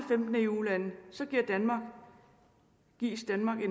eu lande så gives danmark